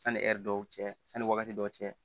Sani ɛri dɔw cɛ sani wagati dɔw cɛ